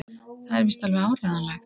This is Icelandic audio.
Það er víst alveg áreiðanlegt!